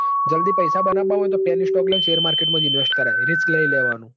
જલ્દી પૈસા બનાવવા હોયન તો panny stock લઈને share market મોજ invest કરાય. risk લઇ લેવાનું.